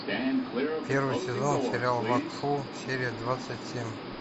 первый сезон сериал вакфу серия двадцать семь